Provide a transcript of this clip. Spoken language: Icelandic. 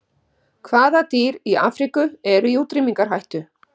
Hvaða dýr í Afríku eru í útrýmingarhættu?